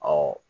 Ɔ